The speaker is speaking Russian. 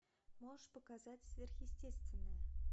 можешь показать сверхъестественное